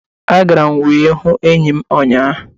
Agara m wee hụ enyi m ụnyaahụ.